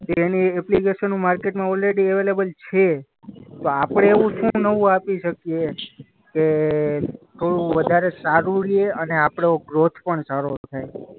કે એની એપ્લિકેશનો માર્કેટમાં ઓલરેડી અવેલેબેલ છે તો આપણે એવું શું નવું આપી શકીએ કે થોડું વધારે સારું રહે અને આપનો ગ્રોથ પણ સારો થાય.